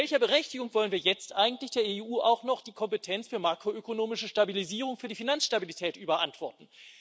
Mit welcher Berechtigung wollen wir jetzt eigentlich der EU auch noch die Kompetenz für makroökonomische Stabilisierung, für die Finanzstabilität, überantworten?